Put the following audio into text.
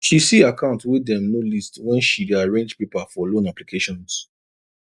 she see account way dem no list when she day arrange paper for loan applications